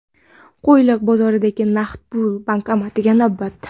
Qo‘yliq bozoridagi naqd pul bankomatiga navbat .